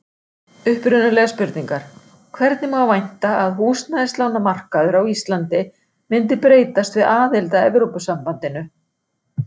Upprunalegar spurningar: Hvernig má vænta að húsnæðislánamarkaður á Íslandi myndi breytast við aðild að Evrópusambandinu?